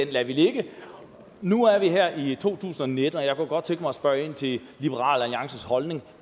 vi lader ligge og nu er vi her i to tusind og nitten og jeg kunne godt tænke mig at spørge ind til liberal alliances holdning